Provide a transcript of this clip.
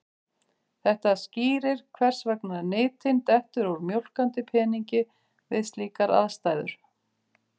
Þetta skýrir hvers vegna nytin dettur úr mjólkandi peningi við slíkar aðstæður.